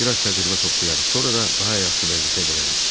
Bir az təcrübə toplayar, sonra da daha yaxşı vəzifə verərik.